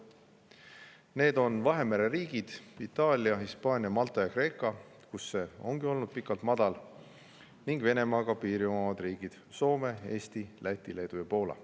Need on Vahemere riigid Itaalia, Hispaania, Malta ja Kreeka, kus see ongi olnud pikka aega madal, ning Venemaaga piiri omavad riigid Soome, Eesti, Läti, Leedu ja Poola.